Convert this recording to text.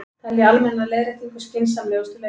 Telja almenna leiðréttingu skynsamlegustu leiðina